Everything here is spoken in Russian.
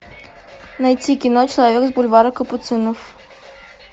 найти кино человек с бульвара капуцинов